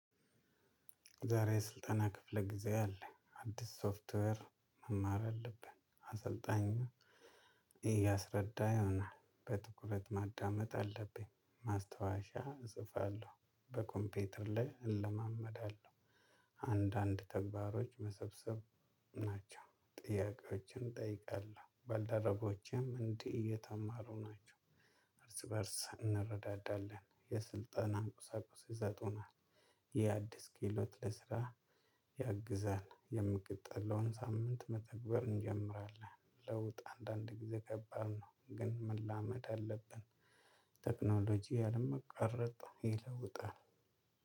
ዛሬ ስልጠና ክፍለ ጊዜ አለ አዲስ ሶፍትዌር መማር አለብን አሰልጣኝና እያስረዳ ይሆናል በትኩረት ማዳመጥ አለብኝ ማስታወሻ ፅፋለው በ ኮምፒተር ላይ እለማመዳለሁ። አንዳንድ ተግባሮች መሰብሰብ ናቸው ጥያቄዎችን እጠይቃለሁ ባልደረቦቼም እንዲህ እየተማሩ ናቸው። በእርስ እንረዳዳለን የስልጠናን ቁሳቁስ ይሰጡናል። የአዲስ ክህሎት ለስራ ያግዛል የምቀጥለውን ሳምንት መተግበር እንጀምራለን። ለውጥ አንዳንድ ጊዜ ከባድ ነው ግን መላመድ አለብን። ቴክኖሎጂ ያለመቋረጥ ይለውጣል።